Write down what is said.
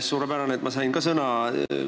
Suurepärane, et ma ka sõna sain!